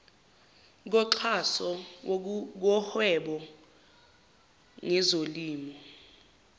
koxhaso kuhweba ngezolimo